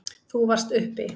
Þú varst uppi.